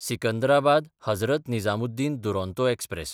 सिकंदराबाद–हजरत Nizamuddin Duronto express